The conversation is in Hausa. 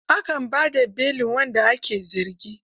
A kan ba da belin wanda ake zargi.